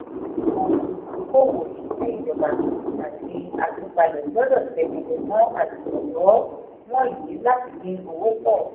àwọn olùdókòwò òṣìṣẹ́ ìjọba àti atúpalẹ̀ gbọ́dọ̀ tẹ́mẹ́lẹ̀ mọ àmójútó wọ̀nyí láti dín owó pọ̀.